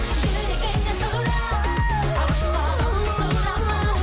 жүрегіңнен сұра сұрама